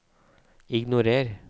ignorer